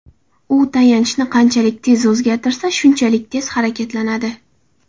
U tayanchni qanchalik tez o‘zgartirsa, shunchalik tez harakatlanadi.